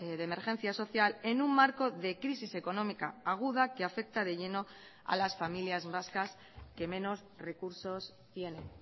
de emergencia social en un marco de crisis económica aguda que afecta de lleno a las familias vascas que menos recursos tienen